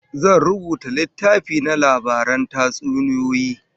Zan rubuta littafi na labaran tatsuniyoyi